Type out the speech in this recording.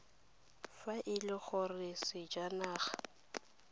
fa e le gore sejanaga